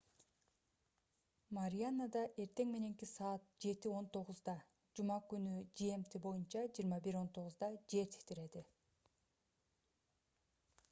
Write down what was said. марианада эртең мененки саат 07:19 жума күнү gmt боюнча 21:19 жер титиреди